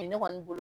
U ye ne kɔni bolo